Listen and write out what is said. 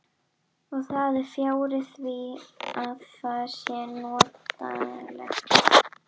Og það er fjarri því að það sé notalegt.